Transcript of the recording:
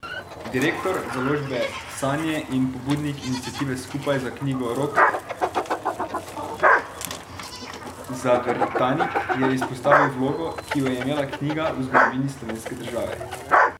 Direktor založbe Sanje in pobudnik iniciative Skupaj za knjigo Rok Zavrtanik je izpostavil vlogo, ki jo je imela knjiga v zgodovini slovenske države.